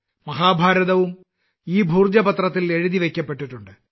മഹാഭാരതവും ഈ ഭോജ പത്രത്തിൽ എഴുതിവയ്ക്കപ്പെട്ടിട്ടുണ്ട്